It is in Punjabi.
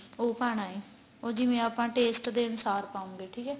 ਉਹ ਪਾਣਾ ਏ ਉਹ ਜਿਵੇਂ ਆਪਾਂ taste ਦੇ ਅਨੁਸਾਰ ਪਾਉਗੇ ਠੀਕ ਏ